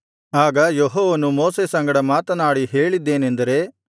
ಆಗ ಯೆಹೋವನು ಮೋಶೆ ಸಂಗಡ ಮಾತನಾಡಿ ಹೇಳಿದ್ದೇನೆಂದರೆ